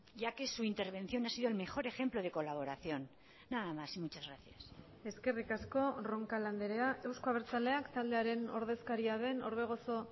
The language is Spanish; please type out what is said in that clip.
ya que su intervención ha sido el mejor ejemplo de colaboración nada más y muchas gracias eskerrik asko roncal andrea euzko abertzaleak taldearen ordezkaria den orbegozo